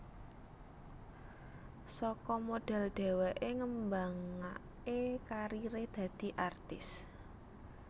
Saka modhel dheweké ngembangaké kariré dadi artis